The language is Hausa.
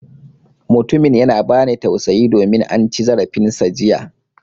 Mutumin yana ba ni tausayi domin an ci zarafin sa jiya.